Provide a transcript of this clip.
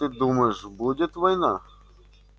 как ты думаешь будет война